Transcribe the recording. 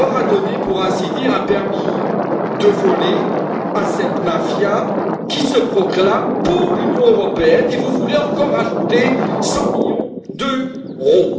On a donné, pour ainsi dire, un permis de voler à cette mafia qui se proclame pour l'Union européenne. Et vous voulez encore ajouter 100 millions d'euros?